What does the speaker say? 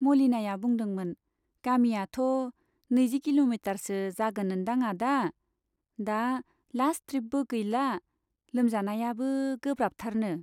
मलिनाया बुंदोंमोन , गामियाथ' नैजि किल'मिटारसो जागोन ओन्दां आदा, दा लास्ट ट्रिपबो गैला, लोमजानायाबो गोब्राबथारनो !